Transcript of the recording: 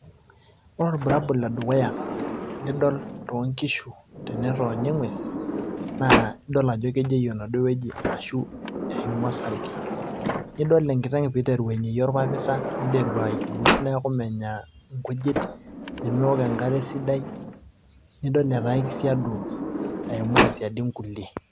ore ilbulabol le dukuya, lidol too nkishu te netoonyo, eng'ues naa idol ajo kejeyu enaduoo wueji, ashu eimua osarge, nidol enkiteng' pee eiteru ainyeyie orpapita, niteru aijuluus neeku menya nkujit, nemeok enkare esidai, nidol etaa kisiadu aimu tesiadi inkulie.